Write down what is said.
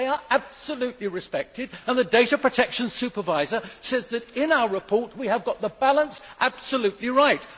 They are absolutely respected and the data protection supervisor says that in our report we have got the balance absolutely right.